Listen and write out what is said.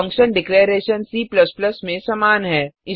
function declaration C में समान है